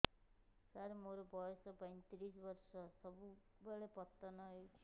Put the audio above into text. ସାର ମୋର ବୟସ ପୈତିରିଶ ବର୍ଷ ସବୁବେଳେ ପତନ ହେଉଛି